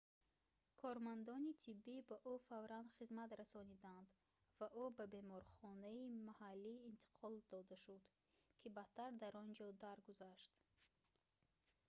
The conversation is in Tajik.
кормандони тиббӣ ба ӯ фавран хизмат расониданд ва ӯ ба беморхонаи маҳаллӣ интиқол дода шуд ки баъдтар дар он ҷо даргузашт